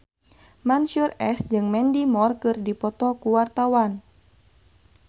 Mansyur S jeung Mandy Moore keur dipoto ku wartawan